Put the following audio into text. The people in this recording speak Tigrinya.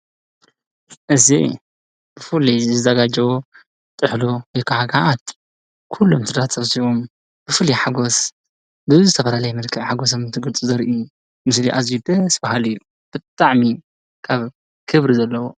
እዚ ፍሉይ ዝዘጋጆ ጥሕሎ ወይ ከዓ ገዓት ኩሎም ስድራ ተሰብሲቦም ብፍሉይ ሓጎስ ብዝተፈላልየ መልክዕ ሓጎሶም እንትገልፁ ዘርኢ ምስሊ ኣዝዩ ደስ በሃሊ እዩ ብጣዕሚ ካብ ክብሪ ዘለዎ ።